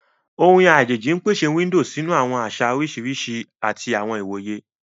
Orin ajeji n pese window sinu awọn aṣa oriṣiriṣi ati awọn iwoye.